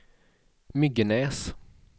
Myggenäs